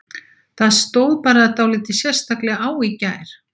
Það stóð bara dálítið sérstaklega á í gær.